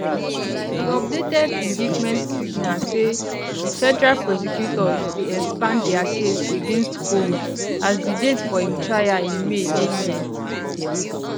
di updated indictment signal say di federal prosecutors dey expand dia case against combs as di date for im trial in may dey near